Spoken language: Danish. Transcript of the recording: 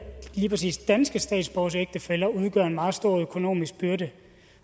lige præcis danske statsborgeres ægtefæller udgør en meget stor økonomisk byrde